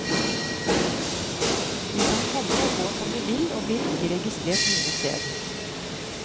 De kan komme og gå som de vil, og blir ikke registrert noe sted.